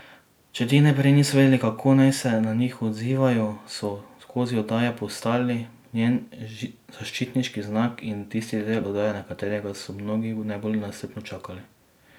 Če ti najprej niso vedeli, kako naj se na njih odzivajo, so skozi oddaje postali njen zaščitni znak in tisti del oddaje, na katerega so mnogi najbolj nestrpno čakali.